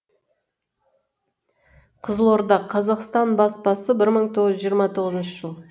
қызылорда қазақстан баспасы бір мың тоғыз жүз жиырма тоғызыншы жыл